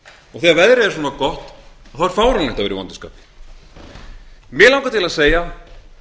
og þegar það er gott veður er fáránlegt að vera í vondu skapi mig langar til að segja